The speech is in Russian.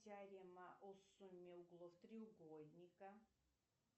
теорема о сумме углов треугольника